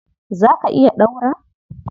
Za ka iya ɗaura